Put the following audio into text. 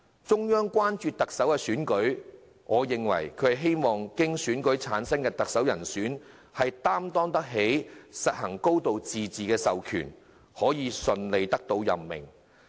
中央之所以關注特首選舉，我認為是希望經選舉產生的特首，能擔當起實行"高度自治"的授權，可以順利得到任命。